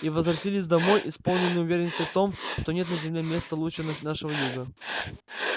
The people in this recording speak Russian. и возвратились домой исполненные уверенности в том что нет на земле места лучше нашего юга